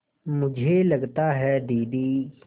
मुझे लगता है दीदी